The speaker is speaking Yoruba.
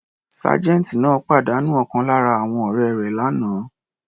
Sergeant náà pàdánù ọ̀kan lára àwọn ọ̀rẹ́ rẹ̀ l'ana.